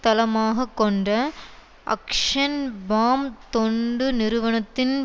தளமாக கொண்ட அக்ஷன் பாம் தொண்டு நிறுவனத்தின்